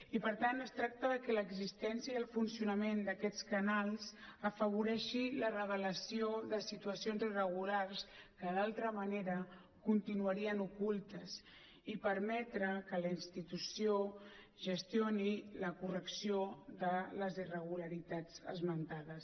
i per tant es tracta de que l’existència i el funcionament d’aquests canals afavoreixin la revelació de situacions irregulars que d’altra manera continuarien ocultes i permetre que la institució gestioni la correcció de les irregularitats esmentades